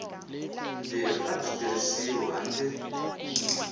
leri a byi tirhisiwi handle